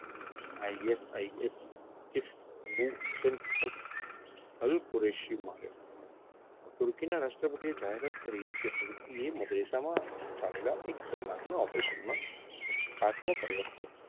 ISIS તુર્કીના રાષ્ટ્રપતિએ જાહેરાત કરી કે તુર્કીએ ચાલેલા એક કલાકના operation માં કર્યો હતો.